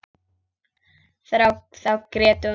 Þá grét hún.